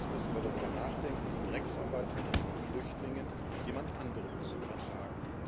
Sonst müssen wir darüber nachdenken, die Drecksarbeit mit unseren Flüchtlingen jemand anderem zu übertragen.